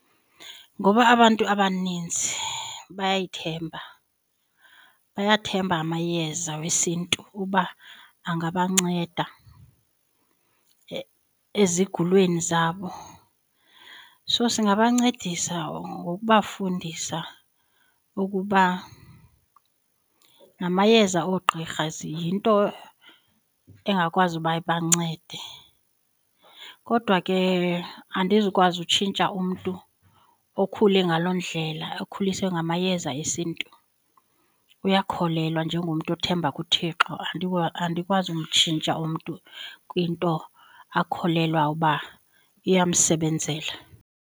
Ngoba abantu abaninzi bayayithemba, bayathemba amayeza wesiNtu uba angabanceda ezigulweni zabo. So singabancedisa ngokubafundisa ukuba namayeza oogqirha ziyinto engakwazi uba ibancede. Kodwa ke andizukwazi utshintsha umntu okhule ngaloo ndlela okhuliswe ngamayeza esiNtu, uyakholelwa njengomntu othemba kuThixo andikwazi umtshintsha umntu kwinto akholelwa uba iyamsebenzela.